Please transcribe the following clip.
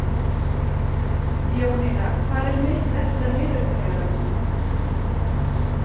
Jónína, hvað er mikið eftir af niðurteljaranum?